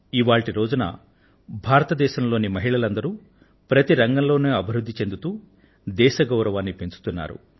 ఇవాళ్టి రోజున భారతదేశంలో మహిళలందరూ ప్రతి రంగంలో అభివృద్ధి చెందుతూ దేశ గౌరవాన్ని పెంచుతున్నారు